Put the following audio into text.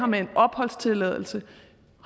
med en opholdstilladelse